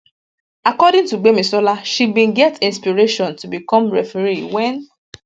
according to gbemisola she bin get inspiration to become referee wen